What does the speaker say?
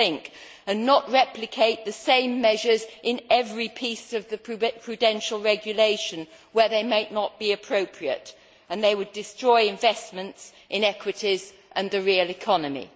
we must think and not replicate the same measures in every piece of the prudential regulation where they may not be appropriate and would destroy investments in equities and the real economy.